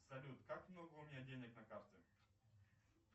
салют как много у меня денег на карте